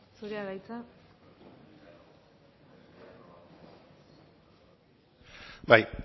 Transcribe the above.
zurea da hitza bai